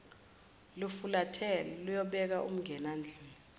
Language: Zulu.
lufulathela luyobeka umngenandlini